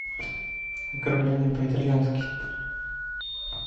ограбление по итальянски